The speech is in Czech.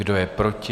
Kdo je proti?